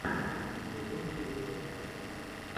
ютуб рецепты